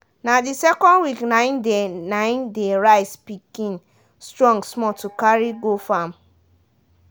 na dey second week nai dey nai dey rice pikin strong small to carry go farm.